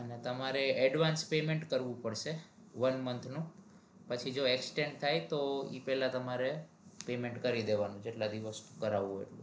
અને તમારે advance payment કરવું પડશે one month નું પછી જો exchange થાય તો ઈ પેલા તમારે payment કરી દેવાનું જેટલા દિવસ નું કરવું હોય